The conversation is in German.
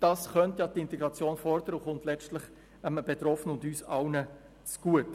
Dies könnte die Integration fördern und käme letztlich dem Betroffenen und uns allen zugute.